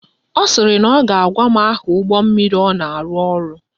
Ọ sịrị na ọ ga-agwa m aha ụgbọmmiri ọ na-arụ ọrụ